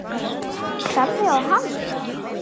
Starði á hana.